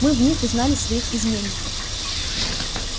мы в них узнали своих изменников